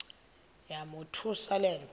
yamothusa le nto